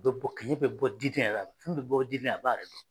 Bɛ bɔ kɛnɛ bɛ bɔ diden yɛrɛ la fini bɛ bɔ diden na a b'a yɛrɛ dɔn